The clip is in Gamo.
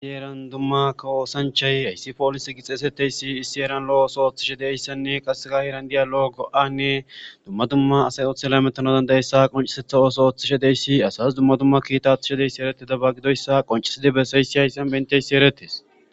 isiyeran dumma ka woosanchay hayssi poolis gixeesetteysi issi eran lo7 ooso ooththishe deyssanne qasseka heeran diya lo7o go7anne dumma dumma asay othel metno dandayessa qoncisetha ooso ooththishe deyssi asas dumma dumma kiitathishe deyssi eretida ba gidoyssa qoncisidi bessayssi hayssan benteysi erettes